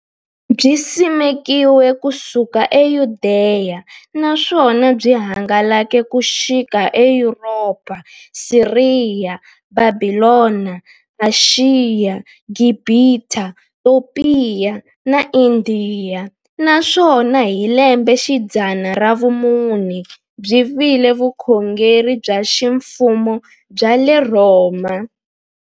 Byisimekiwe ku suka e Yudeya, naswona byi hangalake ku xika eYuropa, Siriya, Bhabhilona, Ashiya, Gibhita, Topiya na Indiya, naswona hi lembexidzana ra vumune byi vile vukhongeri bya ximfumo bya le Rhoma.